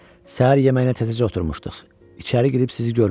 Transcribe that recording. Səhər yeməyinə təzəcə oturmuşduq, içəri gedib sizi görmədi.